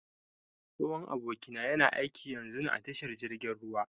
Tsohon abokina yana aiƙi yanzun a tashar jirgin ruwa.